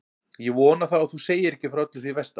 Ég vona þá að þú segir ekki frá öllu því versta.